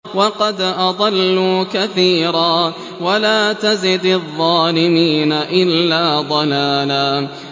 وَقَدْ أَضَلُّوا كَثِيرًا ۖ وَلَا تَزِدِ الظَّالِمِينَ إِلَّا ضَلَالًا